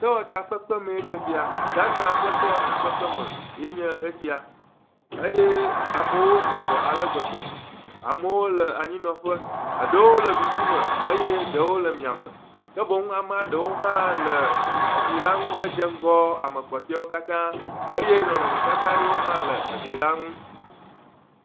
Sewɔtakpekpemee nye sia. Ghana ƒe sewɔtakpekpeme yee nye esia. Eye amewo sɔgbɔ ale gbegbe. Amewo le anyinɔƒe. Eɖewo le ɖusime eye eɖewo le miãme. Ke boŋ eɖewo hã le eglila ŋu hedze ŋgɔ ame kpɔtɔewo katã. Eye nɔnɔmetata ɖewo hã le eglila ŋu.